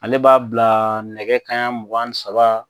Ale b'a bila nɛkɛ kanɲɛ mugan ni saba.